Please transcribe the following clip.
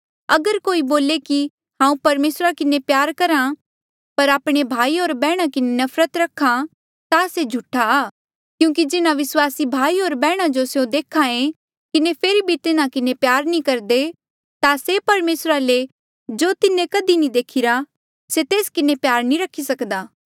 अगर कोई बोले कि हांऊँ परमेसरा किन्हें प्यार करहा पर आपणे विस्वासी भाई होर बैहणा किन्हें नफरत रख्हा ता से झूठा आ क्यूंकि जिन्हा विस्वासी भाई होर बैहणा जो स्यों देखाएं किन्हें फेरी भी तिन्हा किन्हें प्यार नी करदा ता से परमेसरा ले भी जो तिन्हें कधी नी देखिरा से तेस किन्हें प्यार नी रखी सक्दा